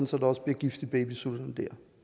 så der også bliver gift i babysutterne der